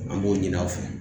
An b'o ɲini aw fɛ